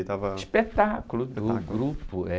Ele estava...spetáculo do grupo, é.